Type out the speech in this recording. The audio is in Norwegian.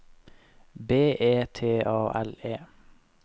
B E T A L E